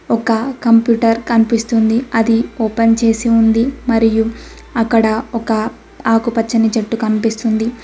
ఒక కంప్యూటర్ కనిపిస్తుంది అది ఓపెన్ చేసి ఉంది మరియు అక్కడ ఒక ఆకుపచ్చని చెట్టు కనిపిస్తుంది.